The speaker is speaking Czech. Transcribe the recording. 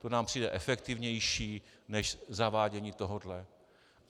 To nám přijde efektivnější než zavádění tohohle.